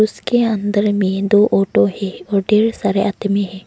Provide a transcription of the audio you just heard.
उसके अंदर में दो ऑटो है और ढ़ेर सारे आदमी है।